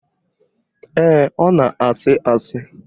Ee, ọ na-àsị́ àsị́